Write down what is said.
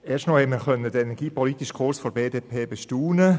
Erstmal konnten wir den energiepolitischen Kurs der BDP bestaunen.